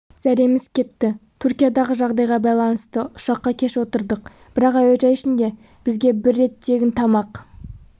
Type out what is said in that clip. зәреміз кетті түркиядағы жағдайға байланысты ұшаққа кеш отырдық бірақ әуежай ішінде бізге бір рет тегін тамақ